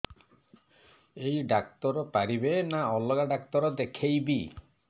ଏଇ ଡ଼ାକ୍ତର ପାରିବେ ନା ଅଲଗା ଡ଼ାକ୍ତର ଦେଖେଇବି